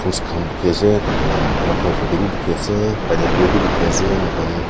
bukhi ase taikhan la matha opor te bi bukhi ase pineapple bi dikhi ase moikhan.